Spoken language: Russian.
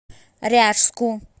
ряжску